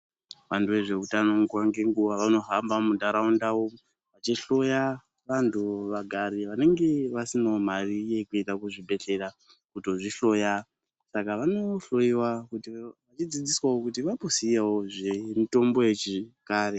Vantu vezveutano nguva ngenguwa vanohamba mundaraunda vechihloya vagari vanenge vasina mari yekuenda kuzvibhedhera kundohloyiwa Saka vanodzidziswa kuti vaziyewo zvemitombo yekare.